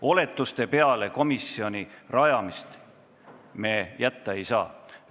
Oletuste peale komisjoni rajamist me jätta ei saa.